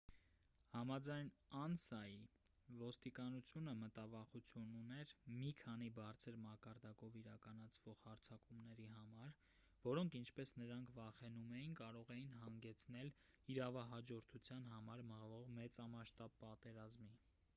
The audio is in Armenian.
համաձայն անսայի ոստիկանությունը մտավախություն ուներ մի քանի բարձր մակարդակով իրականացվող հարձակումների համար որոնք ինչպես նրանք վախենում էին կարող էին հանգեցնել իրավահաջորդության համար մղվող մեծամասշտաբ պատերազմի